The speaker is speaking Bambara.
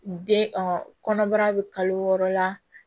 Den kɔnɔbara bɛ kalo wɔɔrɔ la